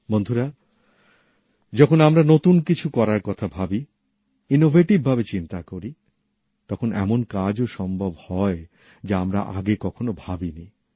বন্ধুরা যখন আমরা কিছু নতুন করার কথা ভাবি উদ্ভাবনের বিষয়ে চিন্তা করি তখন এমন কাজ ও সম্ভব হয় যা আমরা আগে কখনো ভাবিনি